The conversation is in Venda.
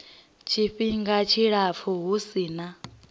tshifhinga tshilapfu hu si na